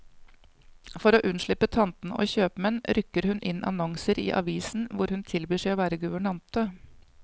For å unnslippe tantene og kjøpmannen, rykker hun inn annonser i avisen hvor hun tilbyr seg å være guvernante.